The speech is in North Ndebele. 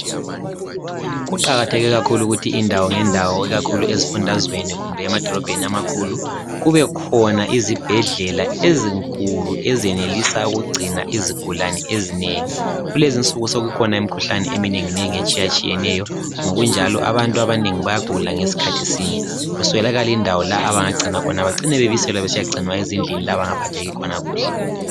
Kuqakatheke kakhulu ukuthi indawo ngendawo ikakhulu ezifundazweni kumbe emadolobheni amakhulu, kubekhona izibhedlela ezinkulu ezenelisa ukugcina izigulane ezinengi. Kulezinsuku sokukhona imkhuhlane eminenginengi etshiyatshiyeneyo, ngokunjalo abantu abanengi bayagula ngesikhathi sinye, kuswelakale indawo la abangagcinwa khona, bacine bebiselwa besiyagcinwa ezindlini la abangaphatheki khona kuhle.